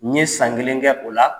N ye san kelen kɛ o la